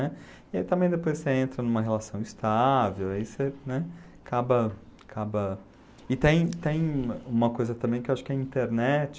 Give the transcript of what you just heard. né? E aí também depois você entra numa relação estável, aí você, né, acaba acaba... E tem tem uma coisa também que acho que a internet...